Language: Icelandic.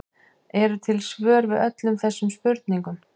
Eru til svör við öllum þessum spurningum?